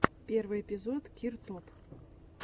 первый эпизод киртоп